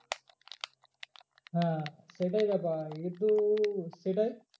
হ্যাঁ সেইটাই ব্যাপার সেটাই